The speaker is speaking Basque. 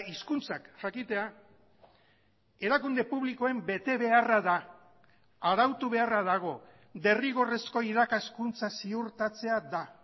hizkuntzak jakitea erakunde publikoen betebeharra da arautu beharra dago derrigorrezko irakaskuntza ziurtatzea da